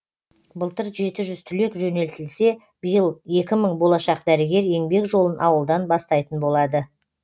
былтыр жеті жүз түлек жөнелтілсе биыл екі мың болашақ дәрігер еңбек жолын ауылдан бастайтын болады